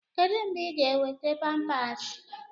Kedu mgbe ị ga-enweta Pampasi?